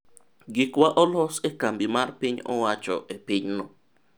gikwa olos e kambi mar piny owacho e pinyno